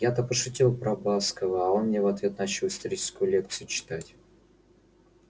я-то пошутил про баскова а он мне в ответ начал историческую лекцию читать